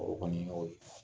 O kɔni